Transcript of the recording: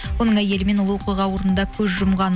оның әйелі мен ұлы оқиға орнында көз жұмған